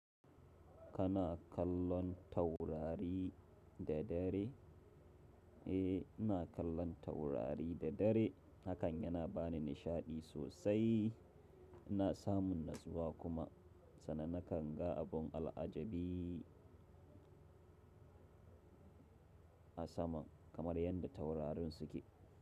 Kana kallon taurari da dare? Eh, ina kallon taurari da dare hakan yana bani nishaɗi sosai. Ina samun natsuwa kuma, sannan na kan ga abun al'ajabi a saman kamar yanda taurarin suke.